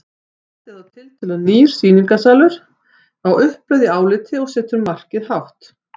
Þetta er þá tiltölulega nýr sýningarsalur á uppleið í áliti og setur markið hátt.